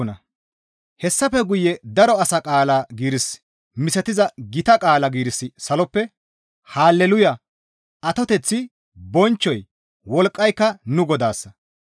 Hessafe guye daro asa qaala giiris misatiza gita qaala giirissi saloppe, «Hale luuya! Atoteththi, bonchchoy, wolqqayka nu Godaassa.